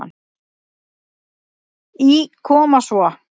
Í Koma svo!